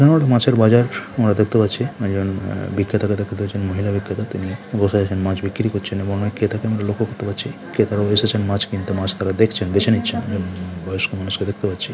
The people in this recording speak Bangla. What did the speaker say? এখানে একটি মাছের বাজার আমরা দেখতে পাচ্ছি এবং একজন বিক্রেতাকে দেখছেন একজন মহিলা বিক্রেতা তিনি বসে আছেন মাছ বিক্রি করছে এবং এক ক্রেতা কে আমি লক্ষ্য করতে পারছি। ক্রেতারা বসে আছে মাছ কিনতে মাছ তারা দেখছেন বেছে নিচ্ছেন বয়স্ক মহিলা দেখতে পাচ্ছি।